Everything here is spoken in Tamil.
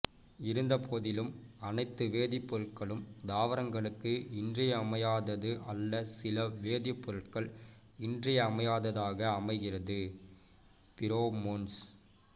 இருந்தபோதிலும் அனைத்து வேதிப் பொருட்களும் தாவரங்களுக்கு இன்றியமையாதது அல்ல சில வேதிப் பொருட்கள் இன்றியமையாததாக அமைகிறது ஃபீரோமோன்ஸ்